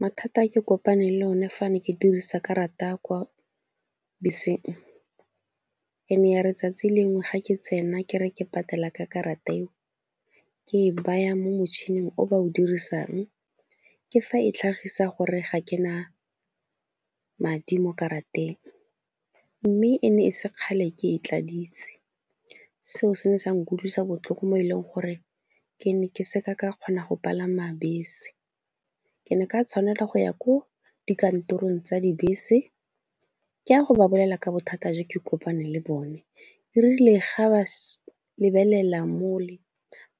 Mathata a ke kopaneng le one fa ne ke dirisa karata kwa beseng e ne ya tsatsi lengwe ga ke tsena ke re ke patala ka karata eo, ke e baya mo motšhining o ba o dirisang, ke fa e tlhagisa gore ga ke na madi mo karateng, mme e ne e se kgale ke e tladitse. Seo se ne sa nkutlwisa botlhoko mo e leng gore ke ne ke se ka ka kgona go palama bese. Ke ne ka tshwanela go ya ko dikantorong tsa dibese ke a go babalela ka bothata jo ke kopaneng le bone, e rile ga ba lebelela mole,